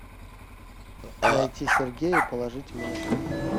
найти сергея и положить ему на счет